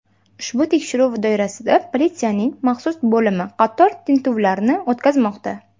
Ushbu tekshiruv doirasida politsiyaning maxsus bo‘limi qator tintuvlarni o‘tkazmoqda.